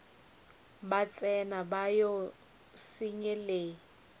ba tsena ba o senyelet